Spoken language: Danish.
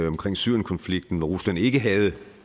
omkring syrienkonflikten hvor rusland ikke havde